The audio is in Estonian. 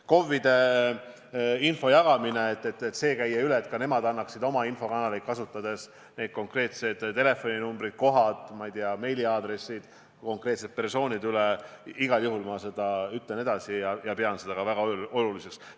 KOV-idele info jagamine selle kohta, et ka nemad annaksid oma infokanaleid kasutades inimestele edasi need konkreetsed telefoninumbrid, kohad, ma ei tea, meiliaadressid, konkreetsete persoonide andmed – igal juhul ütlen ma selle ettepaneku edasi ja pean seda väga oluliseks.